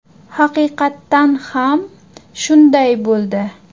Haqiqatan ham shunday bo‘ldi.